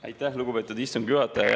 Aitäh, lugupeetud istungi juhataja!